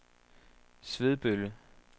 Svebølle